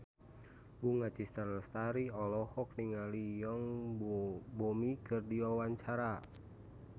Bunga Citra Lestari olohok ningali Yoon Bomi keur diwawancara